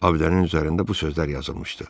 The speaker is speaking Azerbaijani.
Abidənin üzərində bu sözlər yazılmışdı.